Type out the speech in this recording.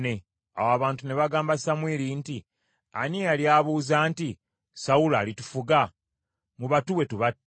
Awo abantu ne bagamba Samwiri nti, “Ani eyali abuuza nti, ‘Sawulo alitufuga?’ Mubatuwe tubatte.”